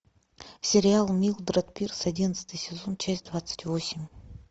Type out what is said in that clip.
сериал милдред пирс одиннадцатый сезон часть двадцать восемь